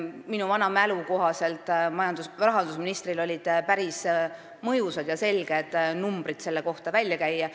Minu vana mälu kohaselt rahandusministril olid päris mõjusad ja selged numbrid selle kohta välja käia.